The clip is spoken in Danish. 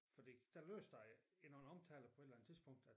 Fordi der lydes det i nogle omtaler på et eller andet tidspunkt at